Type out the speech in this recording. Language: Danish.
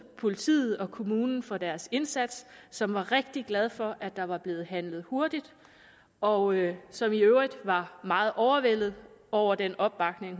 politiet og kommunen for deres indsats som var rigtig glad for at der var blevet handlet hurtigt og som i øvrigt var meget overvældet over den opbakning